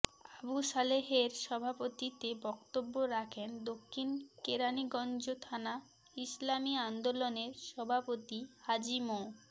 আবু সালেহের সভাপতিত্বে বক্তব্য রাখেন দক্ষিণ কেরানীগঞ্জ থানা ইসলামী আন্দোলনের সভাপতি হাজি মো